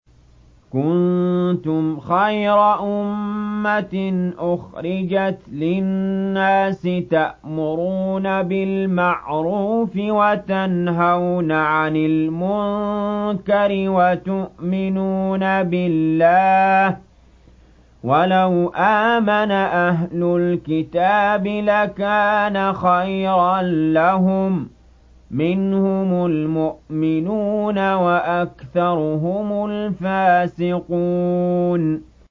كُنتُمْ خَيْرَ أُمَّةٍ أُخْرِجَتْ لِلنَّاسِ تَأْمُرُونَ بِالْمَعْرُوفِ وَتَنْهَوْنَ عَنِ الْمُنكَرِ وَتُؤْمِنُونَ بِاللَّهِ ۗ وَلَوْ آمَنَ أَهْلُ الْكِتَابِ لَكَانَ خَيْرًا لَّهُم ۚ مِّنْهُمُ الْمُؤْمِنُونَ وَأَكْثَرُهُمُ الْفَاسِقُونَ